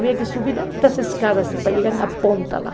Havia que subir altas escadas para chegar na ponta lá.